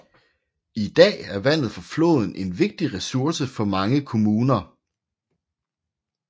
I dag er vandet fra floden en vigtig ressource for mange kommuner